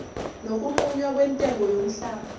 nokunqunywa kwentengo yomhlaba